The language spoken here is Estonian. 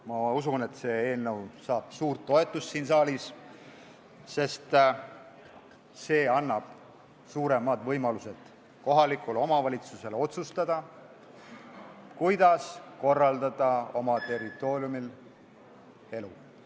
Ma usun, et see eelnõu saab suurt toetust siin saalis, sest see annab kohalikule omavalitsusele suuremad võimalused otsustada, kuidas oma territooriumil elu korraldada.